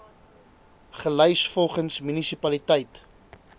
gelys volgens munisipaliteit